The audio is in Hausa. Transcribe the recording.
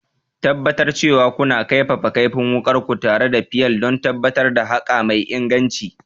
Tabbatar cewa kuna kaifafa kaifin wukarku tare da fayil don tabbatar da haƙa mai inganci.